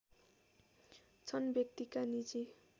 छन् व्यक्तिका निजी